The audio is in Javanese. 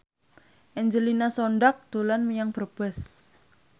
Angelina Sondakh dolan menyang Brebes